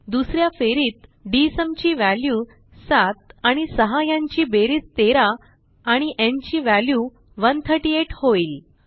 दुस या फेरीत डीएसयूम ची व्हॅल्यू 7 आणि 6 ह्यांची बेरीज 13 आणि न् ची व्हॅल्यू 138 होईल